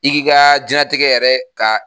I k'i ka diɲɛlatigɛ yɛrɛ ka